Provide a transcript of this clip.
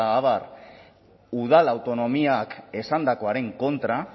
abar udal autonomiak esandakoaren kontra